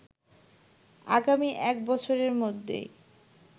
আগামী এক বছরের মধ্যেই